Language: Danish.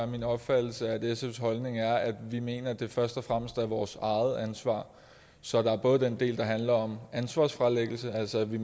min opfattelse at sfs holdning er at vi mener at det først og fremmest er vores eget ansvar så der er både den del der handler om ansvarsfralæggelse altså at vi